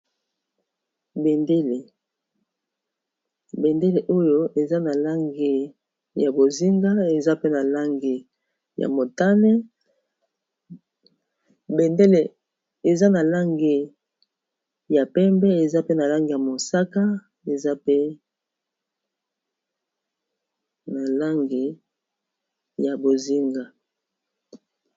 Bendele oyo eza na langi ya bozinga, eza pea langiya motane, langI ya pembe eza pe na langi ya mosaka eza mpe na langi ya bozinga.